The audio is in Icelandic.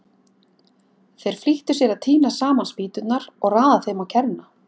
Þeir flýttu sér að tína saman spýturnar og raða þeim á kerruna.